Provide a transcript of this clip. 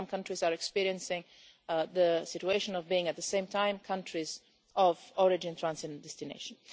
Some countries are experiencing the situation of being at the same time countries of origin, transit and destination.